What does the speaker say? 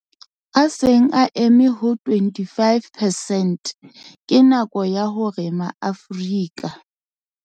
A seng a eme ho 25 percent, ke nako ya hore ma-Afrika.